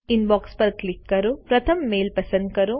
inbox પર click કરો પ્રથમ મેઈલ પસંદ કરો